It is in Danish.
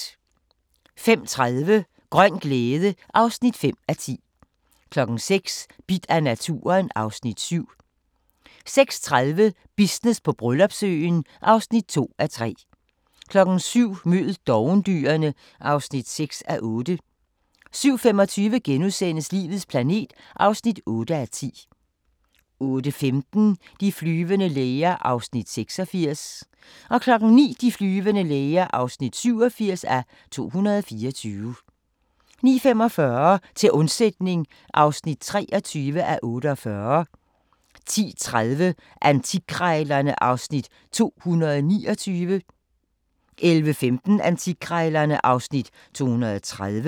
05:30: Grøn glæde (5:10) 06:00: Bidt af naturen (Afs. 7) 06:30: Business på Bryllupsøen (2:3) 07:00: Mød dovendyrene (6:8) 07:25: Livets planet (8:10)* 08:15: De flyvende læger (86:224) 09:00: De flyvende læger (87:224) 09:45: Til undsætning (23:48) 10:30: Antikkrejlerne (Afs. 229) 11:15: Antikkrejlerne (Afs. 230)